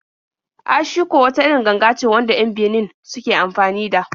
Ashiko wata irin ganga ce wanda 'yan Benin suke anfani da.